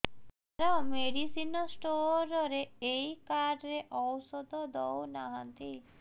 ସାର medicine store ରେ ଏଇ card ରେ ଔଷଧ ଦଉନାହାନ୍ତି